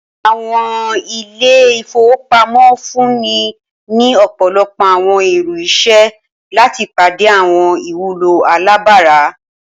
Awọn ile-ifowopamọ nfunni ni ọpọlọpọ awọn iru iṣẹ lati pade awọn iwulo alabara.